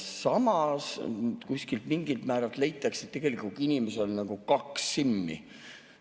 Samas kuskil mingil määral leitakse, et tegelikult inimesel on nagu kaks SIM‑i.